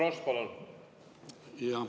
Ants Frosch, palun!